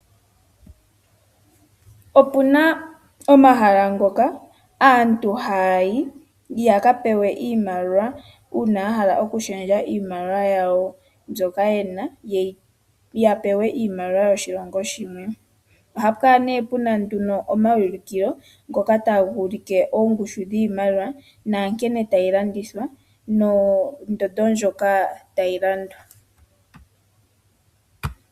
Opuna omahala ngoka aantu haayi ya ka pewe iimaliwa uuna ya hala okushendja iimaliwa yawo mbyoka yena ya pewe iimaliwa yoshilongo shimwe ohaya kala pena omaulikilo gamwe ngoka haya pewa tagu like oongushu dhiimaliwa nankene tadhi landithwa nondondo ndjoka tayi landwa.